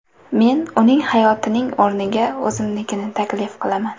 Men uning hayotining o‘rniga o‘zimnikini taklif qilaman.